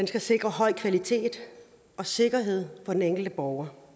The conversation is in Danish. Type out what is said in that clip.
skal sikre høj kvalitet og sikkerhed for den enkelte borger